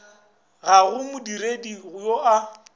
ga go modiredi yoo a